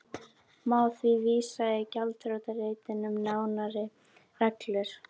Má því vísa í gjaldþrotaréttinn um nánari reglur.